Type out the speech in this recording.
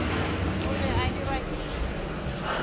o be a dirwa ke